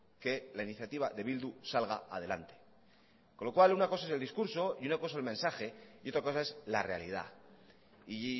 que la iniciativa de bildu salga adelante con lo cual una cosa es el discurso y una cosa el mensaje y otra cosa es la realidad y